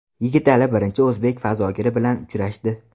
Yigitali birinchi o‘zbek fazogiri bilan uchrashdi.